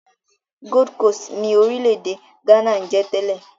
Gold Coast ni orílẹ̀-èdè Ghana ń jẹ́ tẹ́lẹ̀.